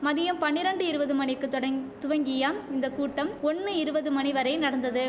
மதியம் பனிரண்டு இருவது மணிக்குத் தொடங் துவங்கியம் இந்த கூட்டம் ஒன்னு இருவது மணி வரை நடந்தது